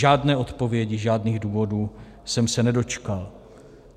Žádné odpovědi, žádných důvodů jsem se nedočkal.